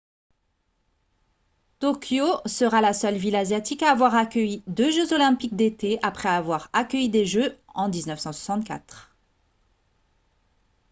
tokyo sera la seule ville asiatique à avoir accueilli deux jeux olympiques d'été après avoir accueilli les jeux en 1964